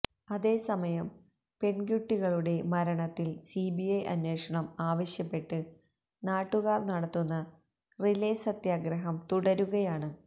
അതേസമയം പെണ്കുട്ടികളുടെ മരണത്തില് സിബിഐ അന്വേഷണം ആവശ്യപ്പെട്ട് നാട്ടുകാര് നടത്തുന്ന റിലേ സത്യാഗ്രഹം തുടരുകയാണ്